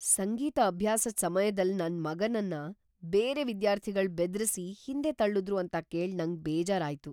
ಸಂಗೀತ ಅಭ್ಯಾಸದ್ ಸಮ್ಯದಲ್ ನನ್ ಮಗನನ್ ಬೇರೆ ವಿದ್ಯಾರ್ಥಿಗಳ್ ಬೆದ್ರಿಸಿ ಹಿಂದೆ ತಳ್ಳುದ್ರು ಅಂತ ಕೇಳ್ ನಂಗ್ ಬೇಜಾರ್ ಆಯ್ತು.